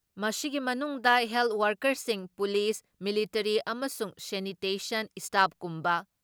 ꯃꯁꯤꯒꯤ ꯃꯅꯨꯡꯗ ꯍꯦꯜꯠ ꯋꯥꯀꯔꯁꯤꯡ, ꯄꯨꯂꯤꯁ, ꯃꯤꯂꯤꯇꯔꯤ ꯑꯃꯁꯨꯡ ꯁꯦꯅꯤꯇꯦꯁꯟ ꯏꯁꯇꯥꯞꯀꯨꯝꯕ